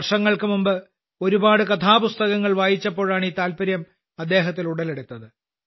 വർഷങ്ങൾക്ക് മുമ്പ് ഒരുപാട് കഥാപുസ്തകങ്ങൾ വായിച്ചപ്പോഴാണ് ഈ താൽപര്യം അദ്ദേഹത്തിൽ ഉടലെടുത്തത്